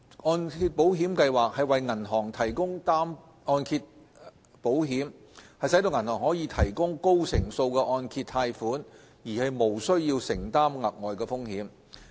按保計劃為銀行提供按揭保險，使銀行可以提供高成數的按揭貸款而無須承擔額外的風險。